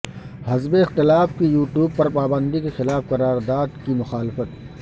حزب اختلاف کی یوٹیوب پر پابندی کے خلاف قرارداد کی مخالفت